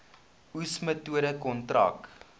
oes metode kontrak